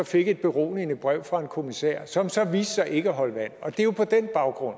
fik et beroligende brev fra en kommissær som så viste sig ikke at holde vand det er jo på den baggrund